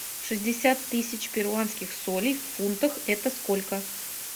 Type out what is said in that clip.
шестьдесят тысяч перуанских солей в фунтах это сколько